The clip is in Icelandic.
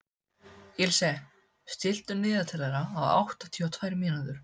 Ilse, stilltu niðurteljara á áttatíu og tvær mínútur.